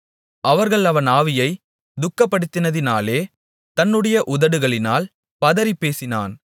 அவர்கள் அவன் ஆவியைத் துக்கப்படுத்தினதினாலே தன்னுடைய உதடுகளினால் பதறிப்பேசினான்